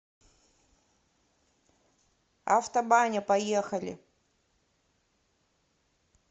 автобаня поехали